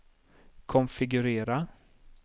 konfigurera